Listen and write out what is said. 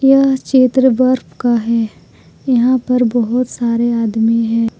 यह चित्र बर्फ का है यहां पर बहुत सारे आदमी हैं।